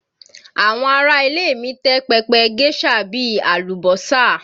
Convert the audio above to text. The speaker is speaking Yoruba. Àwọn ará ilé mi tẹ́ pẹpẹ géșà bí i àlùbọ́sà